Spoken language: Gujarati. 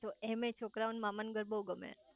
એમેય છોકરાઓ ને મામા ન ઘર બહુ ગમે